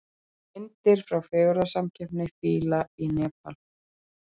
Myndir frá fegurðarsamkeppni fíla í Nepal